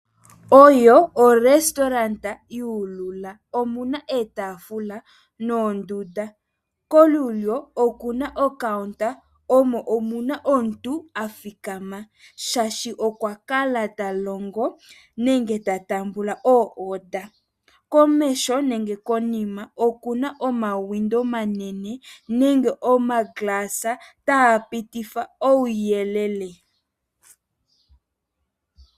Oyo orestauranda yuulula. Omuna iitaafula noondunda. Kolulyo okuna ocounta, omo omuna omuntu athikama shaashi okwa kala ta longo nenge ta tambula oorder. Komesho nenge konima okuna omawindow omanene nenge omaglass taa pitifa uuyelele.